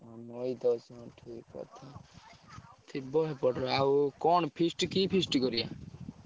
ଓ ନଈ ତ ଅଛି ହଁ ଠିକ୍ ଅଛି। ଥିବ ସେପଟରେ ଆଉ କଣ feast କି feast କରିଆ?